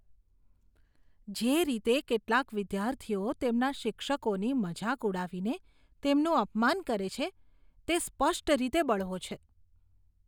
જે રીતે કેટલાક વિદ્યાર્થીઓ તેમના શિક્ષકોની મજાક ઉડાવીને તેમનું અપમાન કરે છે, તે સ્પષ્ટ રીતે બળવો છે.